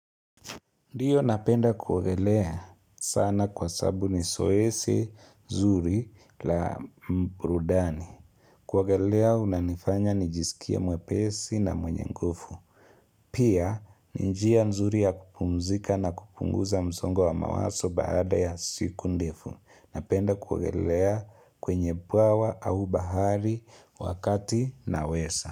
Ndiyo napenda kugelea sana kwa sababu ni zoezi nzuri la burudani. Kugelea unanifanya nijisikia mwepesi na mwenye nguvu. Pia, ni njia nzuri ya kupumzika na kupunguza mzongo wa mawazo baada ya siku ndefu. Napenda kugelea kwenye bawa au bahari wakati naweza.